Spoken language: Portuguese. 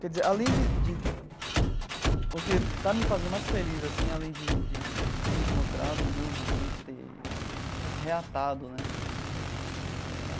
Quer dizer, além de de... o que está me fazendo mais feliz assim, além de de de ter encontrado o meu ambiente, de ter reatado né eh...